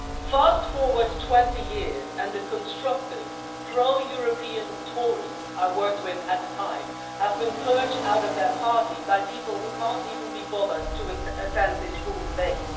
Fast forward 20 years, and the constructive, pro European Tories I worked with at the time have been purged from their party by people who can't even be bothered to attend this full debate.